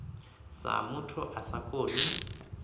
sa muthu a sa koni